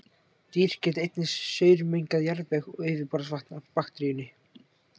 Dýr geta einnig saurmengað jarðveg og yfirborðsvatn af bakteríunni.